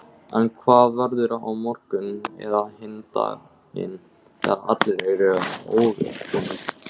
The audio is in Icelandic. En hvað verður á morgun eða hinn daginn þegar allir eru óviðbúnir?